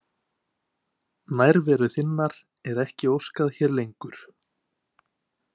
Nærveru þinnar er ekki óskað hér lengur.